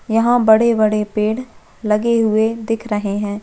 यहाँ बड़े-बड़े पेड़ लगे हुए दिख रहे है।